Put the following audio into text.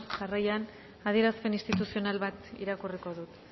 jarraian adierazpen instituzional bat irakurriko dut